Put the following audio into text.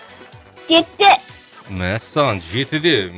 жетіде мәссаған жетіде